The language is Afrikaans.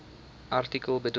artikel bedoel